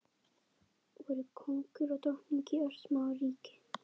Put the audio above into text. Voru kóngur og drottning í örsmáu ríki.